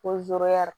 Ko